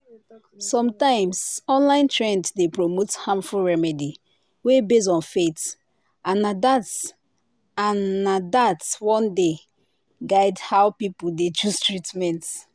sometimes online trend dey promote harmful remedy wey base on faith and na that and na that one dey guide how people dey choose treatment.